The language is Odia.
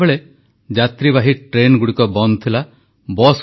କଠିନ ତପସ୍ୟା ଓ କଷ୍ଟ ସହି ଦେଶକୁ ଯେଉଁ ସ୍ଥିତିକୁ ଆଣିଛେ ତାକୁ କେବେ ବିଫଳ ହେବାକୁ ଦେବାନାହିଁ